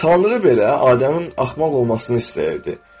Tanrı belə Adəmin axmaq olmasını istəyirdi.